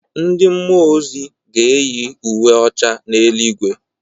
Ndị mmụọ ozi ga-eyi uwe ọcha n’eluigwe